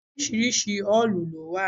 Oríṣiríṣi òòlù ló wà.